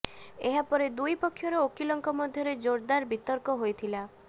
ଏହା ପରେ ଦୁଇ ପକ୍ଷର ଓକିଲଙ୍କ ମଧ୍ୟରେ ଜୋରଦାର ବିତର୍କ ହୋଇଥିଲା